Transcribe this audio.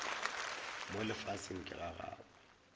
mo lefaseng ke ga gabo